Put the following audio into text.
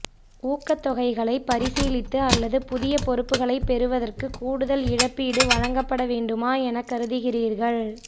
ஊக்கத்தொகைகளைப் பரிசீலித்து அல்லது புதிய பொறுப்புகளை பெறுவதற்கு கூடுதல் இழப்பீடு வழங்கப்பட வேண்டுமா எனக் கருதுகிறீர்கள்